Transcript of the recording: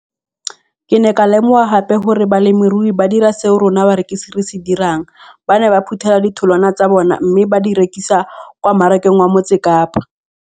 Ke ne ka lemoga gape gore balemirui ba dira seo rona barekisi re se dirang - ba ne ba phuthela ditholwana tsa bona mme ba di rekisa kwa marakeng wa Motsekapa.